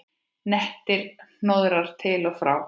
Nettir hnoðrar til og frá.